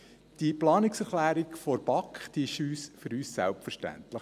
Die Planungserklärung der BaK ist für uns selbstverständlich.